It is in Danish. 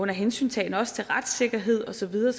hensyntagen også til retssikkerhed og så videre